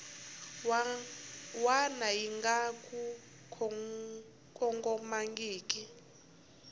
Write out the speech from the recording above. wana yi nga ku kongomangiki